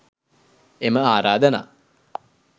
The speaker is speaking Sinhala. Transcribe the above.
එම ආරාධනා